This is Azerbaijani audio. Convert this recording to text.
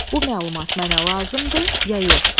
Bu məlumat mənə lazımdır ya yox.